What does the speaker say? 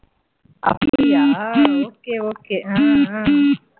அப்படியா okay okay உம் உம்